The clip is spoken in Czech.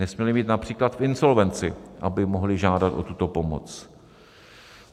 Nesměli být například v insolvenci, aby mohli žádat o tuto pomoc.